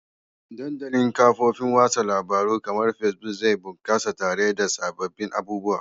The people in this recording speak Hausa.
Dandalin kafofin watsa labarun kamar Facebook zai bunkasa tare da sababbin abubuwa